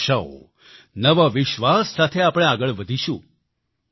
નવી આશાઓ નવા વિશ્વાસ સાથે આપણે આગળ વધીશું